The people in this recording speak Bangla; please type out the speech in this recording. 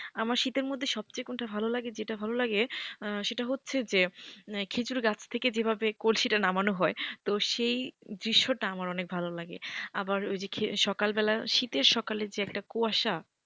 আমার শীতের মধ্যে সবচেয়ে কোনটা ভালো লাগে যেটা ভালো সেটা হচ্ছে যে খেজুর গাছ থেকে যেভাবে কলসি টা নামানো হয় তো সেই দৃশ্যটা আমার অনেক ভালো লাগে। আবার ওই যে সকাল বেলা শীতের সকালে যে একটা কুয়াশা,